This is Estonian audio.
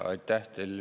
Aitäh!